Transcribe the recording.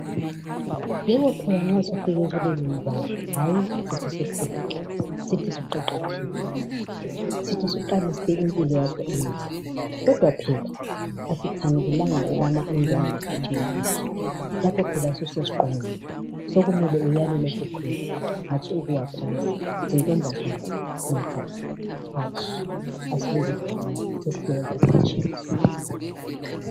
Yebo phela nxa sufike kulelibanga sithi usukhulile, sithi usuqeqetshile, sithi usuqalisile impilo yakho enhle kodwa phela asikhangelelanga ujubana indwangu ikhuthe ugatsha lapho phela ususesiqongweni sokumele uyale ulokhu ukhwela hatshi ukuwa phansi. Zintombazana majaha hatshi asibekezeleni sesisiya ekuphutsheni.